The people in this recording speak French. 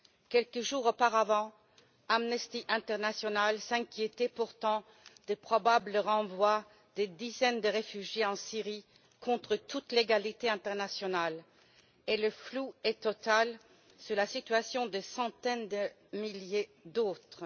Quelques jours auparavant, Amnesty International s'inquiétait pourtant des probables renvois de dizaines de réfugiés en Syrie, hors de toute légalité internationale, et le flou est total sur la situation de centaines de milliers d'autres.